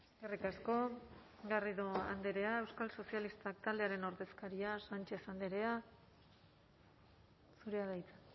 eskerrik asko garrido andrea euskal sozialistak taldearen ordezkaria sánchez andrea zurea da hitza